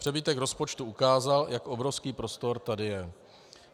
Přebytek rozpočtu ukázal, jak obrovský prostor tady je.